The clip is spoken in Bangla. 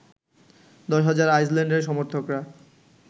১০ হাজার আইসল্যান্ডের সমর্থকরা